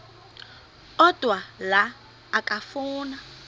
odwa la okafuna